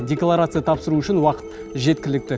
декларация тапсыру үшін уақыт жеткілікті